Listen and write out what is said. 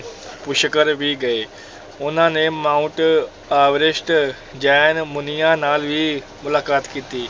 ਪੁਸ਼ਕਰ ਵੀ ਗਏ, ਉਹਨਾਂ ਨੇ ਮਾਂਊਂਟ ਆਵਰੈਸਟ ਜੈਨ ਮੁਨੀਆਂ ਨਾਲ ਵੀ ਮੁਲਾਕਾਤ ਕੀਤੀ।